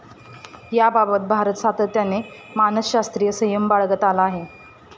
याबाबत भारत सातत्याने मानसशास्रीय संयम बाळगत आला आहे.